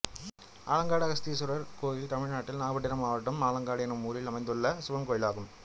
ஆலங்காடு அகஸ்தீஸ்வரர் கோயில் தமிழ்நாட்டில் நாகபட்டினம் மாவட்டம் ஆலங்காடு என்னும் ஊரில் அமைந்துள்ள சிவன் கோயிலாகும்